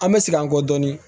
An bɛ segin an kɔ dɔɔnin